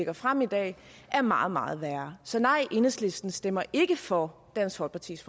har fremsat er meget meget værre så nej enhedslisten stemmer ikke for dansk folkepartis